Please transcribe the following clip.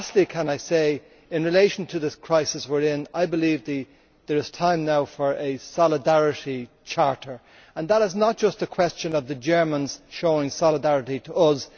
Can I say in relation to this crisis we are in that I believe it is time now for a solidarity charter and that is not just a question of the Germans showing solidarity to us